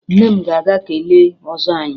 Nne m ga-aga kelee ọzọ anyị